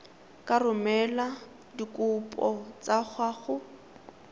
ka romela dikopo tsa gago